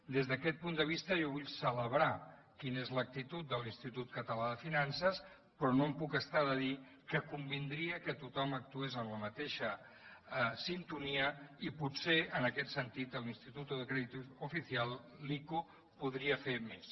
des d’aquest punt de vista jo vull celebrar quina és l’actitud de l’institut català de finances però no em puc estar de dir que convindria que tothom actués amb la mateixa sintonia i potser en aquest sentit el instituto de crédito oficial l’ico podria fer més